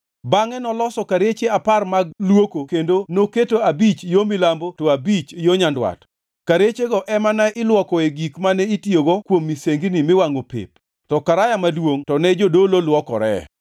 Bangʼe noloso kareche apar mag luoko kendo noketo abich yo milambo to abich yo nyandwat. Karechego ema ne ilwokoe gik mane itiyogo kuom misengini miwangʼo pep to Karaya Maduongʼ to ne jodolo lwokoree.